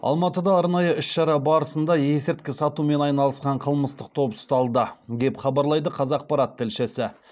алматыда арнайы іс шара барысында есірткі сатумен айналысқан қылмыстық топ ұсталды деп хабарлайды қазақпарат тілшісі